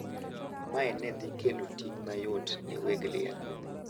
Mae ne dhi kelo ting` mayot ne weg liel.